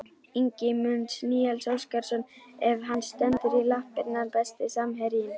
Ingimundur Níels Óskarsson ef hann stendur í lappirnar Besti samherjinn?